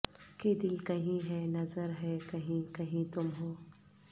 کہ دل کہیں ہے نظر ہے کہیں کہیں تم ہو